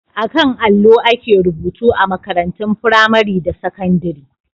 A kan allo ake rubutu a makarantun firamare da sakandire..